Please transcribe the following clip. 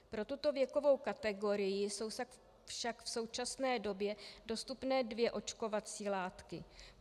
Pro tuto věkovou kategorii jsou však v současné době dostupné dvě očkovací látky.